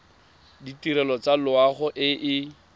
ditirelo tsa loago e e